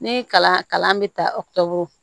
Ni kalan kalan bɛ ta